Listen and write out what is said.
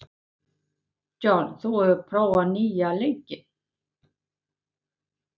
John, hefur þú prófað nýja leikinn?